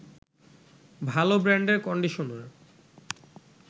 ভালো ব্রান্ডের কন্ডিশনার